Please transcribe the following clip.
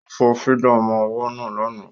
Ó fọ fídà ọmọ ọwọ́ náà lánàá